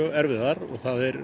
erfiðar og það er